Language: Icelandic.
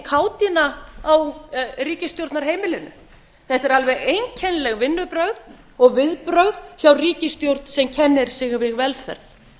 kátína á ríkisstjórnarheimilinu þetta er alveg einkennileg vinnubrögð og viðbrögð hjá ríkisstjórn sem kennir sig við velferð